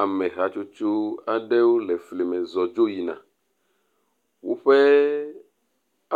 Ame hatsotso aɖewo le fli me zɔm dzo yina. Woƒe